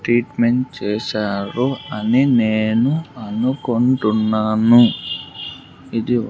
Treatment చేశారు అని నేను అనుకుంటున్నాను ఇది.